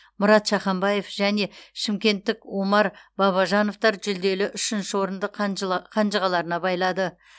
мұрат шаханбаев және шымкенттік омар бабажановтар жүлделі үшінші орынды қанжығаларына байлады